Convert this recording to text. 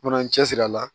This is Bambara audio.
Fana n cɛ siri a la